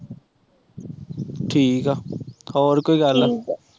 ਠੀਕ ਐ ਹੋਰ ਕੋਈ ਗੱਲ